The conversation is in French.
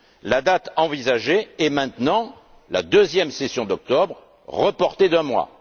La date envisagée est maintenant la deuxième session d'octobre, soit un report d'un mois.